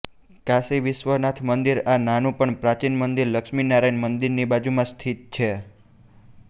કાશી વિશ્વનાથ મંદિર આ નાનું પણ પ્રાચીન મંદિર લક્ષ્મી નારાયણ મંદિરની બાજુમાં સ્થિત છે